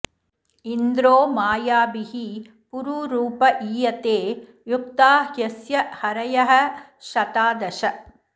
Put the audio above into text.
इन्द्रो मायाभिः पुरुरूप ईयते युक्ता ह्यस्य हरयः शता दश